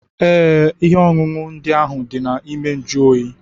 Ee, ihe ọṅụṅụ ndị ahụ dị na ime njuoyi.